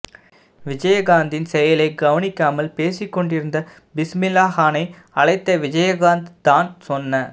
விஜய்காந்த்தின் செயலை கவனிக்காமல் பேசிக்கொண்டிருந்த பிஸ்மில்லாகானை அழைத்த விஜயகாந்த் தான் சொன்ன